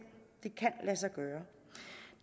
det kan lade sig gøre